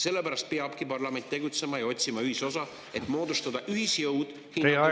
Sellepärast peabki parlament tegutsema ja otsima ühisosa, et moodustada ühisjõud hinnatõusu vastu …